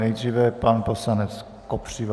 Nejdříve pan poslanec Kopřiva.